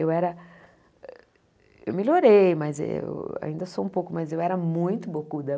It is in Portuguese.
Eu era... Eu melhorei, mas eu... Ainda sou um pouco, mas eu era muito bocuda.